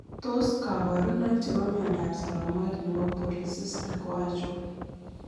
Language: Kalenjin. Tos kabarunoik ab myondab saramok nebo polycystic ko achon?